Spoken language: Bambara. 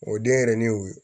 O denyɛrɛnin y'o ye